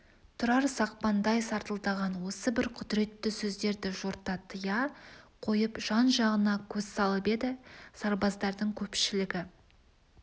тұрар сақпандай сартылдаған осы бір құдіретті сөздерді жорта тыя қойып жан-жағына көз салып еді сарбаздардың көпшілігі